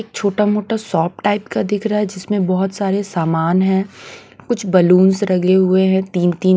छोटा मोटा shop type का दिख रहा है जिसमें बहोत सारे सामान है कुछ बलूंस रगे हुए हैं तीन तीन--